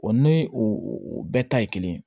O ni o bɛɛ ta ye kelen ye